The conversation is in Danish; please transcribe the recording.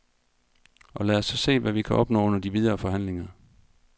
Og lad os så se, hvad vi kan opnå under de videre forhandlinger.